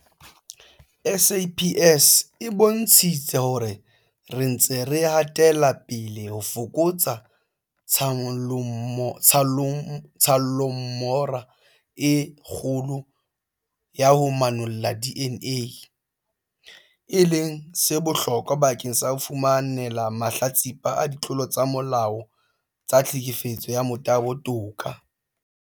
SAPS e bontshitse hore re ntse re hatela pele ho fokotsa tshallomora e kgolo ya ho manolla DNA, e leng se bohlokwa bakeng sa ho fumanela mahlatsipa a ditlolo tsa molao tsa tlhekefetso ya motabo toka.